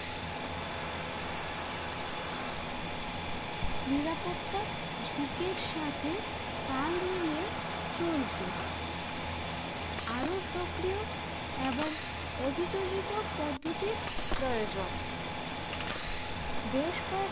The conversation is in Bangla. নিরাপত্তা ঝুঁকির সাথে তাল মিলিয়ে চলতে আরও সক্রিয় এবং অভিযোজিত পদ্ধতির প্রয়োজন বেশ কয়েকটি